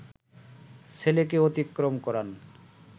ছেলেকে অতিক্রম করান